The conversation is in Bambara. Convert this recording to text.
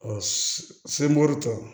sebɔri tɔ